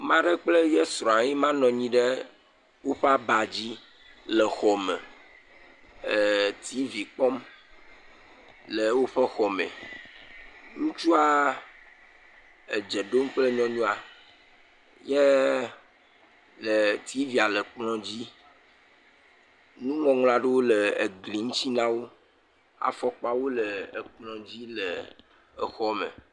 Ame aɖe kple ye srɔ̃a ye ma nɔ anyi ɖe woƒe aba dzi le xɔ me, ee tivi kpɔm le woƒe xɔ me, ŋutsua edze ɖom kple nyɔnua, ye e tivia le kplɔ dzi. Nuŋɔŋlɔ aɖewo le gli ŋuti na wo. Afɔkpawo le ekplɔ dzi le exɔ me.